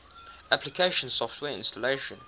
application software installation